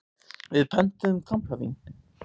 Við pöntuðum kampavín.